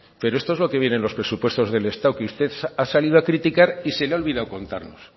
pero esto es lo que viene en los presupuestos del estado que usted ha salido a criticar y se le ha olvidado contarnos